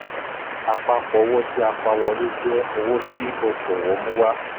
àpapọ̀ owó tí a pa wọlé jẹ owó tí okòwò mú wá.